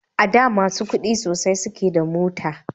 A da masu kudi sosai suke da mota